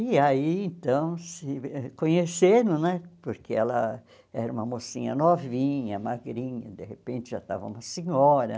E aí então se conheceram né, porque ela era uma mocinha novinha, magrinha, de repente já estava uma senhora.